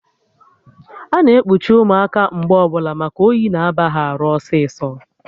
Ana ekpuchi ụmụaka mgbe ọbụla maka oyi na aba ha arụ ọsịsọ